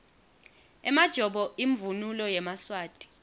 emajobo imvunulo yemaswati